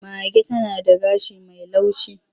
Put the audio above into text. Mage tana gashi mai laushi.